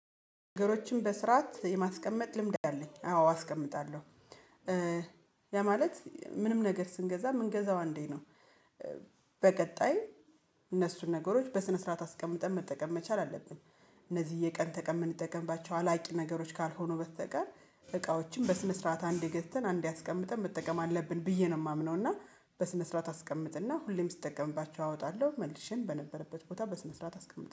ነገሮችን በስርዓት የማስቀመጥ ልምድ አለኝ አዎ አስቀምጣለሁ ያ ማለት ምንም ነገር ስንገዛ የምንገዛው አንዴ ነው። በቀጣይ እነሱን ነገሮች በስነ ስርዓት አስቀምጠን መጠቀም መቻል አለብን። እነዚህ የቀን ተቀን የምንጠቀምባቸው አላቂ ነገሮች ካልሆኑ በስተቀር እቃዎችን በስነ ስርዓት አንድ ገዝተን አንዴ አስቀምጠን መጠቀም አለብን ብዬ ነው የማምነው እና በስነ ስርዓት አስቀምጥና ሁሌም ስጠቀምባቸው አወጣለሁ መልሼ በነበረበት ቦታ በስነ ስርዓት አስቀምጥ